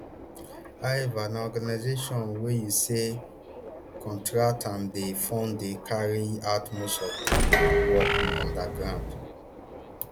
however na organisations wey usaid contract and dey fund dey carry out most of di work on di ground